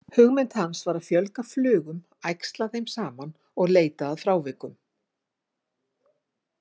Hugmynd hans var að fjölga flugum, æxla þeim saman og leita að frávikum.